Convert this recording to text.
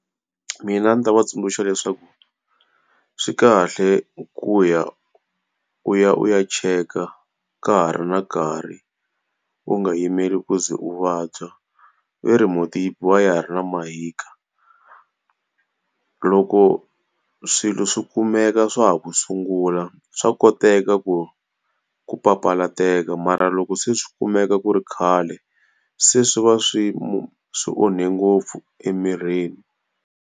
Mina ndzi ta va tsundzuxa leswaku swi kahle ku ya u ya u ya cheka ka ha ri na nkarhi, u nga yimeli ku ze u vabya. Va ri mhunti yi biwa ya ha rina mahika. Loko swilo swi kumeka swa ha ku sungula swa koteka ku ku papalateka mara loko se swi kumeka ku ri khale, se swi va swi swi onhe ngopfu emirini.